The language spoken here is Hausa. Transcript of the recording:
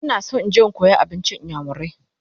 I want to go and learn igbo food